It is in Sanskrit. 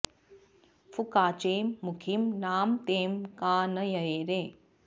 फुकाचें मुखीं नाम तें का न ये रे